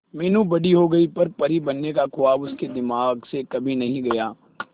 मीनू बड़ी हो गई पर परी बनने का ख्वाब उसके दिमाग से कभी नहीं गया